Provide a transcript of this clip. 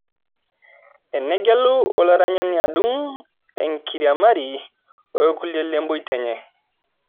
Enegelu olaranyani adung' enkiriamari orkulie lemboita enye